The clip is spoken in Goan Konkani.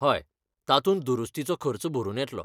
हय, तातूंत दुरुस्तीचो खर्च भरून येतलो.